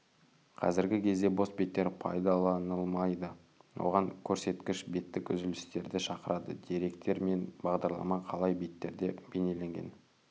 қазіргі кезде бос беттер пайдаланылмайды оған көрсеткіш беттік үзілістерді шақырады деректер мен бағдарлама қалай беттерде бейнеленгенде